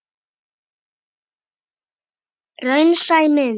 Raunsæ mynd?